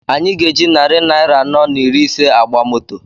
Anyị ga-eji narị naira anọ na iri ise agba moto